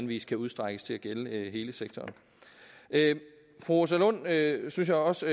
vis kan udstrækkes til at gælde hele sektoren fru rosa lund havde synes jeg også